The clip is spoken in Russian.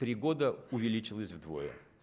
три года увеличилась вдвое